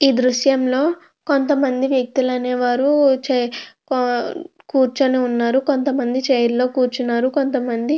ఈ దృశ్యం లో కొంతమంది వ్యక్తులు అనేవారు కూర్చొని వున్నారు కొంతమంది చైర్ల లో కూర్చొని ఉన్నారు కొంతమంది --